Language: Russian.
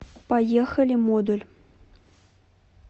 поехали модуль